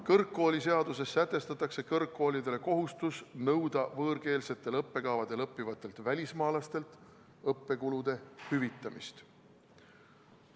Kõrgharidusseaduses sätestatakse kõrgkoolidele kohustus nõuda võõrkeelsetel õppekavadel õppivatelt välismaalastelt õppekulude hüvitamist.